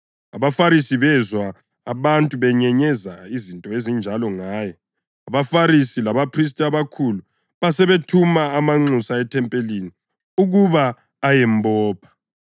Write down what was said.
AbaFarisi bezwa abantu benyenyeza izinto ezinjalo ngaye. AbaFarisi labaphristi abakhulu basebethuma amanxusa ethempelini ukuba ayembopha.